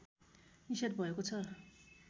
निषेध भएको छ